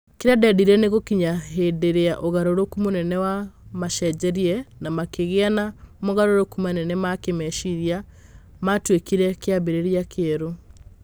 Kĩrĩa ndendile nĩ gukinya ivinda ria ugarurukũ munene wa maacenjerie na makĩgĩa na mogarũrũku manene ma kĩĩmeciria, maatuĩkire kĩambĩrĩria kĩerũ.